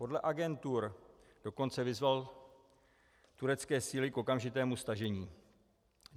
Podle agentur dokonce vyzval turecké síly k okamžitému stažení.